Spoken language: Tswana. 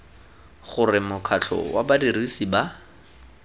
gore mokgatlho wa badirisi ba